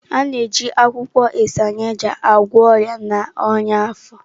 A na-eji akwụkwọ Isaneja agwọ ọrịa na ọnyá afọ.